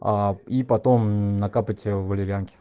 и потом накапать валерьянки